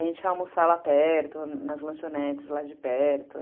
A gente ia almoçar lá perto, nas lanchonetes lá de perto.